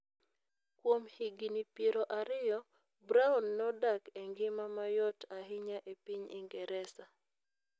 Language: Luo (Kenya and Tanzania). Kuom higini piero ariyo, Browne nodak e ngima mayot ahinya e piny Ingresa.